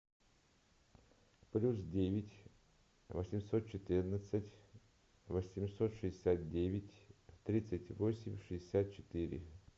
плюс девять восемьсот четырнадцать восемьсот шестьдесят девять тридцать восемь шестьдесят четыре